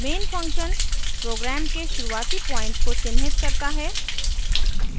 main function program के शुरुआती point को चिन्हित करता है